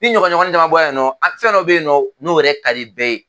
Ni ɲɔgɔɲɔgɔnin caman bɔ la yen nɔ, a fɛn dɔ be yen nɔ n'o yɛrɛ ka di bɛɛ ye.